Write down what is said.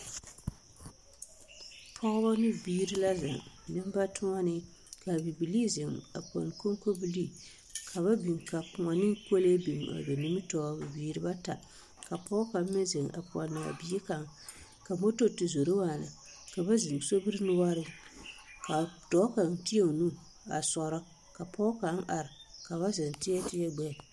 Pɔgebɔ ne biire la zeŋ neŋbatoɔnee kaa bibilii zeŋ a pɛne koŋkobilii ka ba biŋ ka kõɔ ne kolee biŋ a ba nimitoore bibiire bata ka pɔɔ kaŋ meŋ zeŋ a pɔnaa bie kaŋ ka moto ti zoro waana ka zeŋ sobiri noɔreŋ ka dɔɔ kaŋ teɛ o nu a sɔrɔ ka pɔɔ kaŋ are ka ba zeŋ teɛ teɛ gbɛɛ.